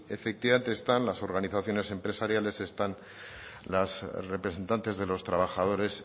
efectivamente están las organizaciones empresariales están los representantes de los trabajadores